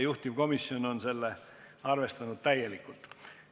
Juhtivkomisjon on arvestanud seda täielikult.